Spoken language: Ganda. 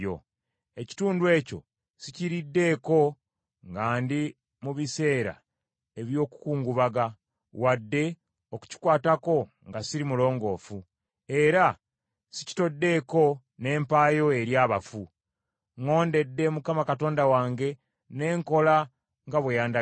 Ekitundu ekyo sikiriddeeko nga ndi mu biseera eby’okukungubaga, wadde okukikwatako nga siri mulongoofu, era sikitoddeeko ne mpaayo eri abafu. Ŋŋondedde Mukama Katonda wange, ne nkola nga bwe yandagira.